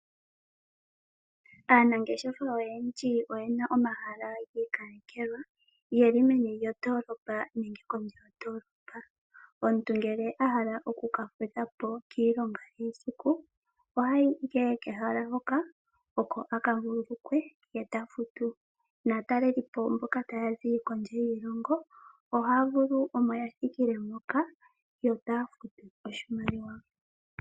Aanangeshefa oyendji oyena omahala gi ikalekelwa geli meni lyondolopa nenge kondje yondolopa. Omuntu ngele a hala oku ka fudhapo kiilongo yesiku ohayi ihe kehala hoka oko aka vulu lukwe ta futu. Naatalelipo mboka taya zi kondje yiilongo ohaya vulu omo yathikile moka yo taya futu oshimaliwa.